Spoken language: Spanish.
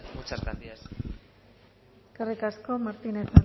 muchas gracias eskerrik asko martínez